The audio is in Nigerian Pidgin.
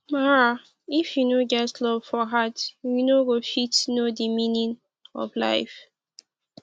mara if you no get love for heart u no go fit know de meaning of life